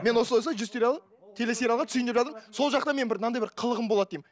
мен осылай осылай жүз сериалы телесериалға түсейін деп жатырмын деймін сол жақта мынандай бір қылығым болады деймін